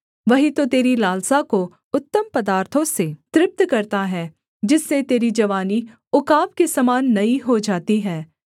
वही तो तेरी लालसा को उत्तम पदार्थों से तृप्त करता है जिससे तेरी जवानी उकाब के समान नई हो जाती है